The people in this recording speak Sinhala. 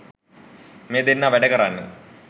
මේ දෙන්නා වැඩ කරන්නේ